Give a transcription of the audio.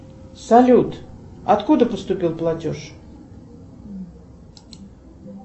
салют откуда поступил платеж